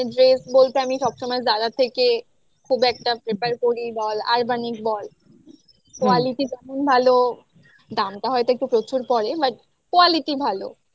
dress বলতে আমি সবসময় Zara থেকে খুব একটা prefer করি বল urbanic বল quality তেমন ভালো দামটা হয়তো একটু প্রচুর পড়ে but quality ভালো